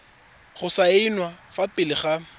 go saenwa fa pele ga